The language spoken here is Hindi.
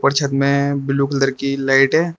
और छत में ब्लू कलर की लाइट है।